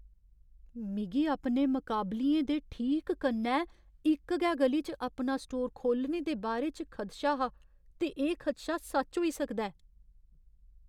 मिगी अपने मकाबलियें दे ठीक कन्नै इक गै ग'ली च अपना स्टोर खोह्लने दे बारे च खदशा हा ते एह् खदशा सच होई सकदा ऐ।